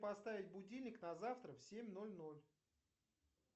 поставить будильник на завтра в семь ноль ноль